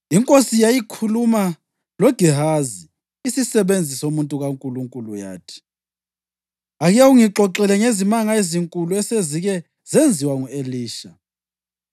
Inkosi yayikhuluma loGehazi, isisebenzi somuntu kaNkulunkulu, yathi, “Ake ungixoxele ngezimanga ezinkulu esezike zenziwa ngu-Elisha.”